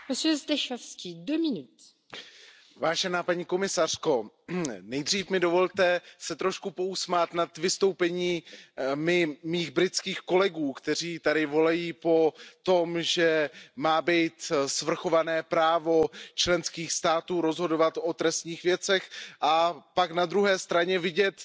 Paní předsedající, paní komisařko, nejdřív mně dovolte se trošku pousmát nad vystoupením mých britských kolegů, kteří tady volají po tom, že má být svrchované právo členských států rozhodovat o trestních věcech, a pak na druhé straně vidět